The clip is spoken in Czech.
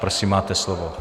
Prosím, máte slovo.